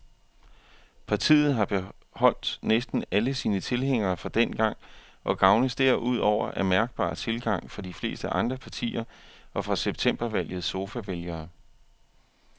Partiet har beholdt næsten alle sine tilhængere fra dengang og gavnes derudover af mærkbar tilgang fra de fleste andre partier og fra septembervalgets sofavælgere.